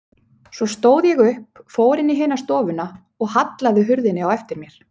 Svo stóð ég upp, fór inn í hina stofuna og hallaði hurðinni á eftir mér.